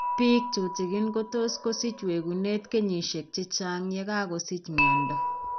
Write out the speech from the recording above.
Biik tuten kotot kosich wekuneet kenyisiek chechang' yekakosich miondo